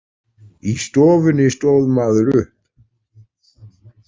Í stofunni stóð maður upp.